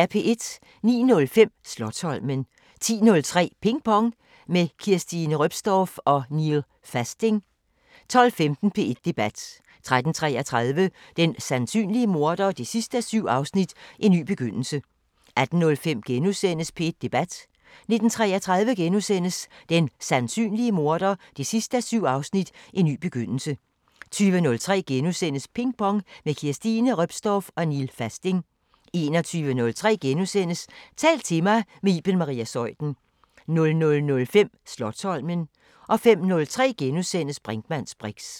09:05: Slotsholmen 10:03: Ping Pong – med Kirstine Reopstorff og Neel Fasting 12:15: P1 Debat: 13:33: Den sandsynlige morder 7:7 – En ny begyndelse 18:05: P1 Debat: * 19:33: Den sandsynlige morder 7:7 – En ny begyndelse * 20:03: Ping Pong – med Kirstine Reopstorff og Neel Fasting * 21:03: Tal til mig – med Iben Maria Zeuthen * 00:05: Slotsholmen * 05:03: Brinkmanns briks *